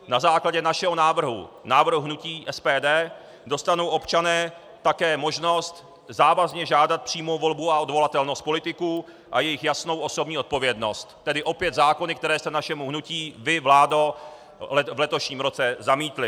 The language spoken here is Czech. Na základě našeho návrhu, návrhu hnutí SPD, dostanou občané také možnost závazně žádat přímou volbu a odvolatelnost politiků a jejich jasnou osobní odpovědnost, tedy opět zákony, které jste našemu hnutí vy, vládo, v letošním roce zamítli.